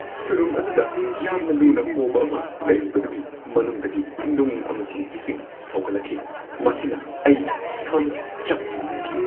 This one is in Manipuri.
ꯁꯨꯔꯨꯡ ꯑꯗꯨꯗ ꯌꯥꯝꯅ ꯂꯨꯅ ꯍꯣꯕ ꯑꯃ ꯂꯩꯔꯤꯕꯗꯨꯒꯤ ꯃꯅꯨꯡꯗꯒꯤ ꯅꯨꯡ ꯑꯃꯁꯨꯡ ꯏꯁꯤꯡ ꯁꯧꯒꯠꯂꯛꯈꯤ ꯃꯁꯤꯅ ꯑꯩ ꯁꯝ ꯆꯞ ꯌꯨꯡꯍꯟꯈꯤ ꯫